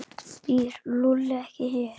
Býr Lúlli ekki hér?